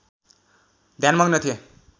ध्यानमग्न थिए